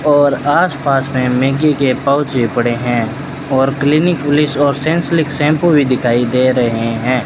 और आस पास में मैगी के पाउच पड़े है और क्लिनिक प्लस और सांसेलिक शैंपू भी दिखाई दे रहे है।